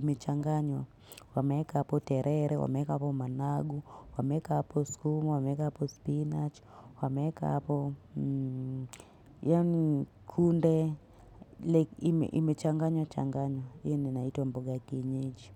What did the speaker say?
ime changanywa wamweka hapo terere, wameweka hapo managu, wameweka hapo skuma, wameweka hapo spinach, wameweka hapo kunde. Like ime changanywa changanywa. Ii inaitwa mboga ya kienyeji.